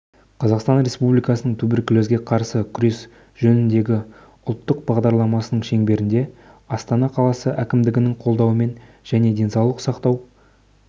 қазақстан республикасының туберкулезге қарсы күрес жөніндегі ұлттық бағдарламасының шеңберінде астана қаласы әкімдігінің қолдауымен және денсаулық сақтау